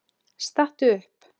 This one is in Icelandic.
Stattu upp!